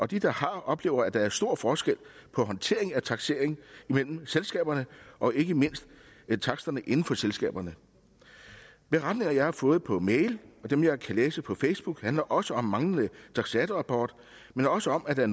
de der har oplever at der er stor forskel på håndteringen af taksering imellem selskaberne og ikke mindst på taksterne inden for selskaberne beretninger som jeg har fået på mail og dem jeg kan læse på facebook handler også om manglende taksatorrapporter men også om at der